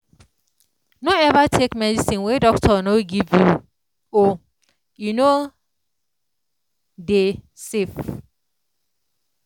no ever take medicine wen doctor no give you o e no dey safe